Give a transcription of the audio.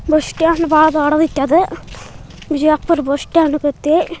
bus stand ಬಹಳ ದೊಡ್ಡದೈತಿ ಅದ್ ಬಿಜಾಪುರ್ ಬಸ್ಸ್ಟ್ಯಾಂಡ್--